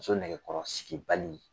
Muso nɛgɛkɔrɔsigibali